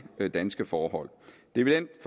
danske forhold det vil